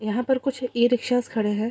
यहां पर कुछ ई रिक्शास खड़े है।